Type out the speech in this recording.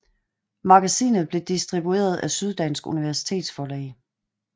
Magasinet blev distribueret af Syddansk Universitetsforlag